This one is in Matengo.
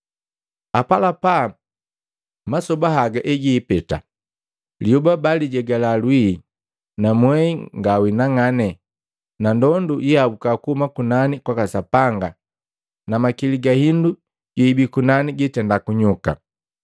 Apalapa masoba haga egiipeta, liyoba baalijegala lwii, na mwehi ngawinang'ane, na ndondu yiiabuka kuhuma kunani kwaka Sapanga na makili ga hindu yeibii kunani gitenda kunyuka.